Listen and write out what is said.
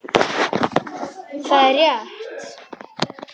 Það er rétt.